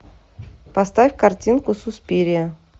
поставь картинку суспирия